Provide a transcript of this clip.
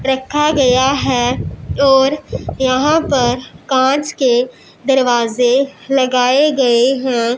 रखा गया है और यहां पर कांच के दरवाजे लगाए गए हैं।